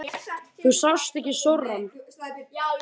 Þú sást ekki sorann.